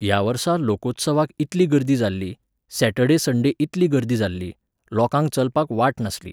ह्या वर्सा लोकोत्सवाक इतली गर्दी जाल्ली, सॅटर्डे सण्डे इतली गर्दी जाल्ली, लोकांक चलपाक वाट नासली.